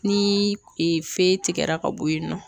Ni fɛn tigɛra ka bɔ yen nɔ